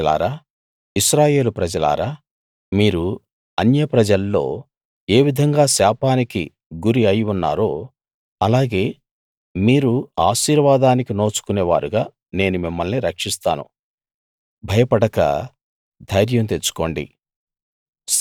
యూదాప్రజలారా ఇశ్రాయేలుప్రజలారా మీరు అన్యప్రజల్లో ఏ విధంగా శాపానికి గురి అయి ఉన్నారో ఆలాగే మీరు ఆశీర్వాదానికి నోచుకునే వారుగా నేను మిమ్మల్ని రక్షిస్తాను భయపడక ధైర్యం తెచ్చుకోండి